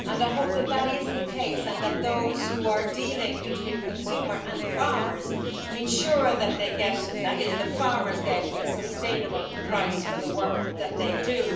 I hope that is the case and that those who are dealing between consumers and farmers ensure that the farmers get a sustainable price for the work that they do.